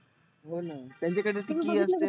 होना त्याची काही तरी key असते.